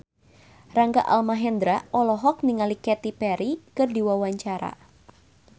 Rangga Almahendra olohok ningali Katy Perry keur diwawancara